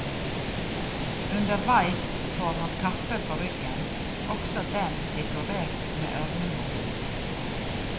Underveis får han kappe på ryggen, også den dekorert med ørnemotiv.